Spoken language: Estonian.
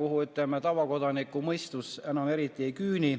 kuhu tavakodaniku mõistus enam eriti ei küüni.